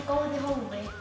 hófi